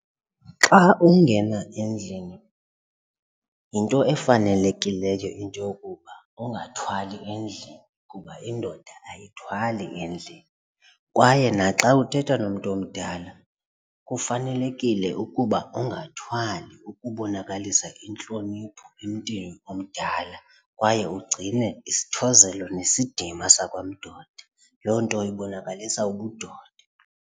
Xa ungena endlini yinto efanelekileyo into yokuba ungathwali endlini kuba indoda ayithwali endlini kwaye naxa uthetha nomntu omdala kufanelekile ukuba ungathwali ukubonakalisa intlonipho emntwini omdala kwaye ugcine isithozelo nesidima sakwandoda. Loo nto ibonakalisa ubudoda.